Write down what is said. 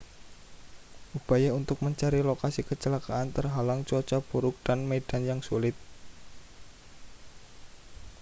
upaya untuk mencari lokasi kecelakaan terhalang cuaca buruk dan medan yang sulit